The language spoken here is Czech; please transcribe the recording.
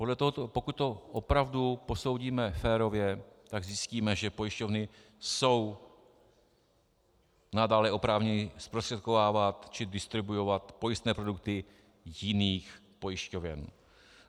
Pokud to opravdu posoudíme férově, tak zjistíme, že pojišťovny jsou nadále oprávněny zprostředkovávat či distribuovat pojistné produkty jiných pojišťoven.